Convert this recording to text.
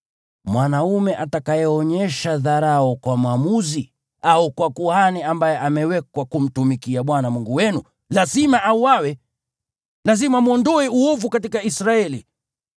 Mwanaume atakayeonyesha dharau kwa mwamuzi au kwa kuhani ambaye amewekwa kumtumikia Bwana Mungu wenu lazima auawe. Lazima mwondoe uovu katika Israeli.